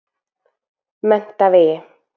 Menntavegi